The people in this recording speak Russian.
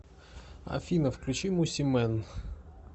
афина включи мосимэн